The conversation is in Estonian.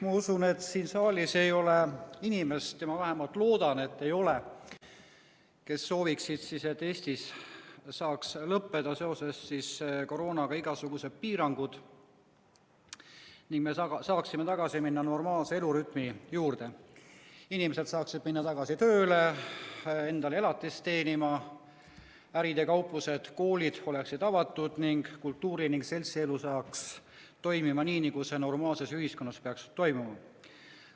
Ma usun, et siin saalis ei ole inimest – ma vähemalt loodan, et ei ole –, kes ei soovi, et Eestis saaks lõppeda seoses koroonaga igasugused piirangud ning me saaksime tagasi minna normaalse elurütmi juurde, et inimesed saaksid minna tagasi tööle endale elatist teenima, et ärid ja kauplused, koolid oleksid avatud ning kultuuri‑ ja seltsielu hakkaks toimima nii, nagu see normaalses ühiskonnas peaks toimuma.